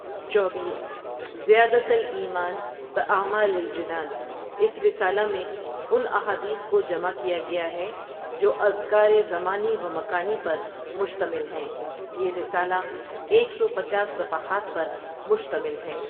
چوبیس زيادة الايمان باعمال الجنان اس رسالہ میں ان احادیث کو جمع کیا گیا ہے جو اذکار زمانی و مکانی پر مشتمل ہیں یہ رسالہ ایک سو پچاس صفحات پر مشتمل ہے.